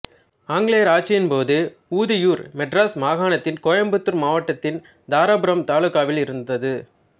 ஆங்கிலேயர் ஆட்சியின் போது ஊதியூர் மெட்ராஸ் மாகாணத்தின் கோயம்புத்தூர் மாவட்டத்தின் தாராபுரம் தாலுகாவில் இருந்தது